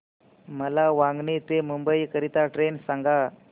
मला वांगणी ते मुंबई करीता ट्रेन सांगा